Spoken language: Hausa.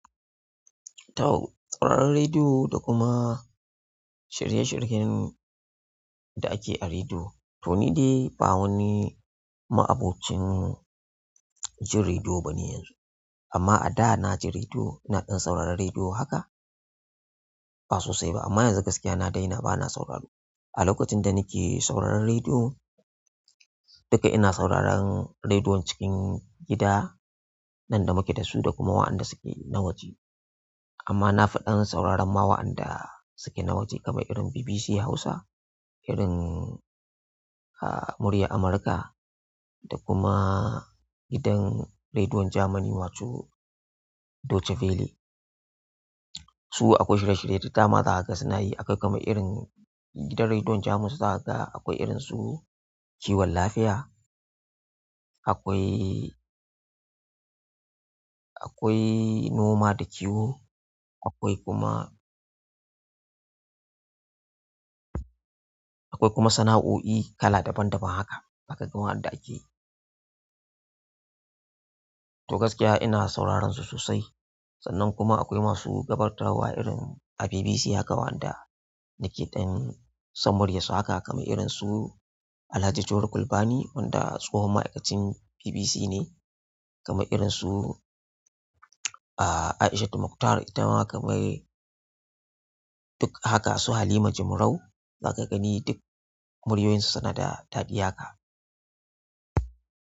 Taw tsaron rediyo da kuma shirye shiryen da ake a rediyo. To ni dai ba wani ma'abocin jin rediyo ba ne yanzu. Amma a da na ji rediyo, ina ɗan sauraron rediyo haka? Ba sosai ba. Amma yanzu gaskiya na daina, ba na sauraro. A lokacin da nake sauraron rediyo, duka ina sauraron rediyon cikin gida nan da muke da su da kuma waɗanda suke na waje. Amma na fiɗan sauraron ma waɗanda suke na waje kamar irin BBC Hausa, irin, a, murya Amurka da kuma gidan rediyon Jamani wato Deutsche belle. Su akwai shirye shirye da dama haka suna yi haka kamar irin gidan rediyon Jamus su suna haka akwai irin su kiwon lafiya, akwai, akwai noma da kiwo, akwai kuma, akwai kuma sana'o'i kala daban daban haka. Zaka ga waɗanda ake. To gaskiya ina sauraron su sosai. Sannan kuma akwai masu gabatarwa irin a BBC haka waɗanda nake ɗan son murya su haka kamar irin su Alhaji Tor Gulbani wanda tsohon ma'aikacin BBC ne, kamar irin su, a, Aishatu Muktar ita ma kamar duk haka su Halima Jimrau. Zaka gani duk muryoyinsu suna da daɗi haka.